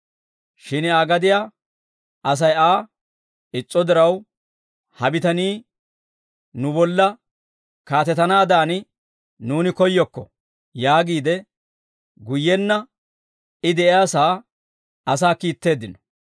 «Shin Aa gadiyaa Asay Aa is's'o diraw, ‹Ha bitanii nu bolla kaatetanaadan nuuni koyyokko› yaagiide, guyyenna I de'iyaasaa asaa kiitteeddino.